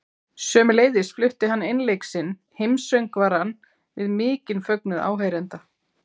Sömuleiðis flutti hann einleik sinn, Heimssöngvarann, við mikinn fögnuð áheyrenda.